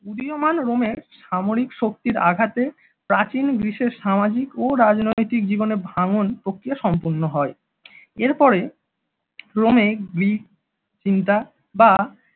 উদীয়মান রোমের সামরিক শক্তির আঘাতে প্রাচীন গ্রিসের সামাজিক ও রাজনৈতিক জীবনে ভাঙ্গন প্রক্রিয়া সম্পন্ন হয়, এরপরে রোমে গ্রিক চিন্তা বা